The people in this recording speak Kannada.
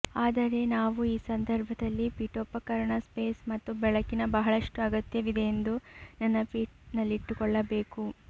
ಆದರೆ ನಾವು ಈ ಸಂದರ್ಭದಲ್ಲಿ ಪೀಠೋಪಕರಣ ಸ್ಪೇಸ್ ಮತ್ತು ಬೆಳಕಿನ ಬಹಳಷ್ಟು ಅಗತ್ಯವಿದೆ ಎಂದು ನೆನಪಿನಲ್ಲಿಟ್ಟುಕೊಳ್ಳಬೇಕು